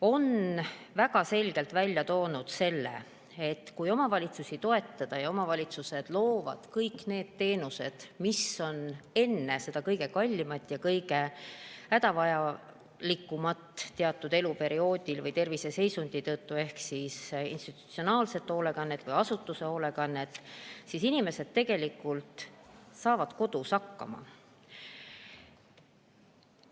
On väga selgelt välja toodud, et kui omavalitsusi toetada ja omavalitsused loovad kõik need teenused, mida on vaja enne seda kõige kallimat ja kõige hädavajalikumat teatud eluperioodil või terviseseisundi tõttu ehk institutsionaalset hoolekannet või asutuse hoolekannet, siis inimesed saavad kodus hakkama.